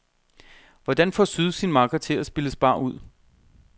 Hvordan får syd sin makker til at spille spar ud?